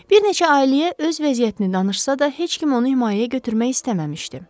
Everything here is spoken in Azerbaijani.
Bir neçə ailəyə öz vəziyyətini danışsa da heç kim onu himayəyə götürmək istəməmişdi.